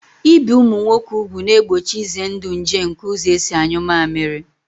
Ibi ụmụ nwoke ugwu ga-egbochi ize ndụ nje nke ụzọ esi anyụ mammiri